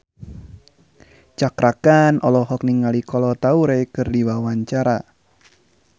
Cakra Khan olohok ningali Kolo Taure keur diwawancara